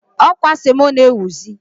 Ọ kwa semo na-ewuzi.